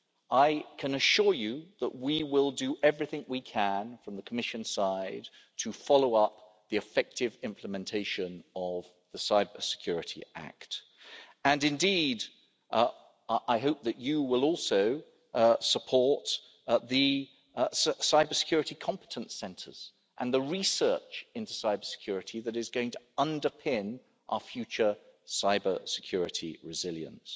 I can assure you that we will do everything we can from the Commission side to follow up the effective implementation of the Cybersecurity Act, and indeed I hope that you will also support the cybersecurity competence centres and the research into cybersecurity that is going to underpin our future cybersecurity resilience.